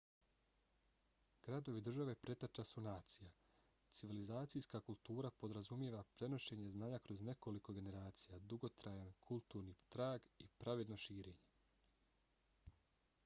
gradovi-države preteča su nacija. civilizacijska kultura podrazumijeva prenošenje znanja kroz nekoliko generacija dugotrajan kulturni trag i pravedno širenje